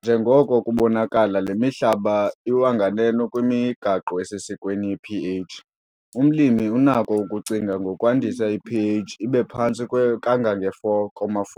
Njengoko kubonakala le mihlaba iwa nganeno kwimigaqo esesikweni ye-pH. Umlimi unako ukucinga ngokwandisa i-pH ibe phantse kangange-4,4